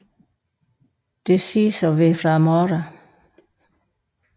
Det siges at være fra morderen